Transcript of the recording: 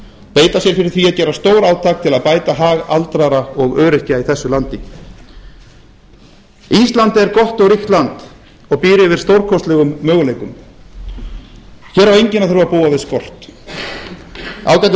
beita sér fyrir því að gera stórátak til að bæta hag aldraðra og öryrkja í landinu ísland er gott og ríkt land og býr yfir stórkostlegum möguleikum hér á enginn að þurfa að búa við skort ágætu